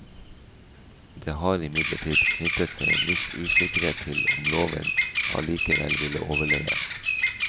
Det har imidlertid knyttet seg en viss usikkerhet til om loven allikevel ville overleve.